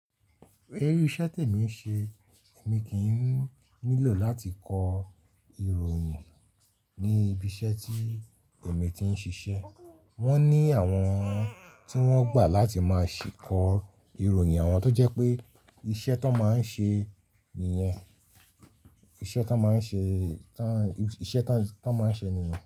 Irú iṣẹ́ tẹ̀mi ń ṣe, èmi kì í nílò láti kọ ìròyìn ní ibi iṣẹ́ tí èmi ti ń ṣiṣẹ́. Wọ́n ní àwọn tí wọ́n gbà láti máa ṣì kọ ìròyìn àwọn tó jẹ́ pé iṣẹ́ tó máa ń ṣe nìyẹn. Iṣẹ́ tó máa ń ṣe, iṣẹ́ tó, tó máa ń ṣe nìyẹn.